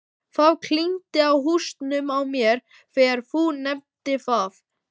Það klingdi í hausnum á mér þegar þú nefndir það.